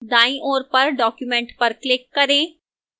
दाईं ओर पर document पर click करें